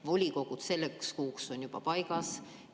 Volikogud selleks kuuks on juba paigas.